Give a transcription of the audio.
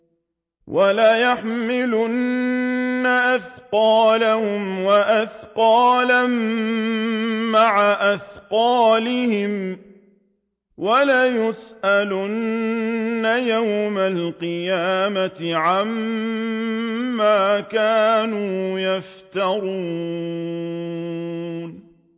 وَلَيَحْمِلُنَّ أَثْقَالَهُمْ وَأَثْقَالًا مَّعَ أَثْقَالِهِمْ ۖ وَلَيُسْأَلُنَّ يَوْمَ الْقِيَامَةِ عَمَّا كَانُوا يَفْتَرُونَ